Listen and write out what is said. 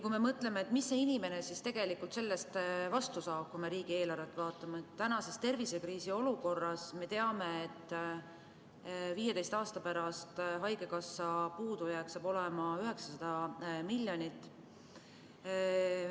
Kui me mõtleme, mis see inimene siis tegelikult selle eest vastu saab, kui me riigieelarvet vaatame, siis tänases tervisekriisiolukorras me teame, et 15 aasta pärast saab haigekassa puudujääk olema 900 miljonit.